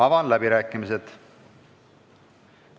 Avan läbirääkimised.